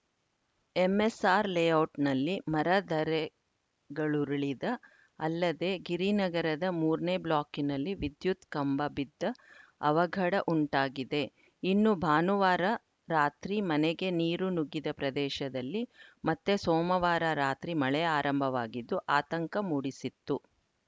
MSR ಲೇಔಟ್‌ನಲ್ಲಿ ಮರ ಧರೆಗಳುರುಳಿದ ಅಲ್ಲದೇ ಗಿರಿನಗರದ ಮೂರನೇ ಬ್ಲಾಕ್‌ನಲ್ಲಿ ವಿದ್ಯುತ್‌ ಕಂಬ ಬಿದ್ದ ಅವಘಡ ಉಂಟಾಗಿದೆ ಇನ್ನು ಭಾನುವಾರ ರಾತ್ರಿ ಮನೆಗೆ ನೀರು ನುಗ್ಗಿದ ಪ್ರದೇಶದಲ್ಲಿ ಮತ್ತೆ ಸೋಮವಾರ ರಾತ್ರಿ ಮಳೆ ಆರಂಭವಾಗಿದ್ದು ಆಂತಕ ಮೂಡಿಸಿತ್ತು